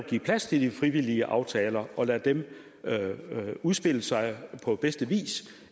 give plads til de frivillige aftaler og lade dem udspille sig på bedste vis